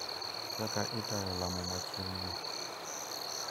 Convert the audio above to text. Kaka itayo lamo machieng`no: